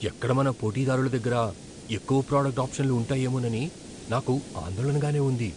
ఎక్కడ మన పోటీదారుల దగ్గర ఎక్కువ ప్రాడక్టు ఆప్షన్లు ఉంటాయేమోనని నాకు ఆందోళనగానే ఉంది.